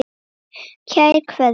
Kær Kveðja.